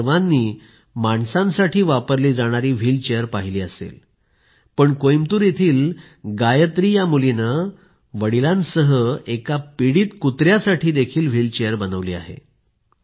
आपण सर्वांनी माणसांसाठी वापरली जाणारी व्हीलचेयर पाहिली आहे पण कोयंबटूर येथील गायत्री या मुलीने वडिलांसह एका पीडित कुत्र्यासाठी व्हीलचेयर बनविली आहे